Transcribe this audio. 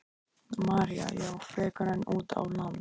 María: Já, frekar en út á land?